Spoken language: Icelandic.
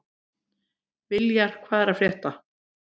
Viljar, hvað er að frétta?